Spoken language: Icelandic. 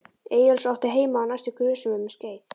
Eyjólfs og átti heima á næstu grösum um skeið.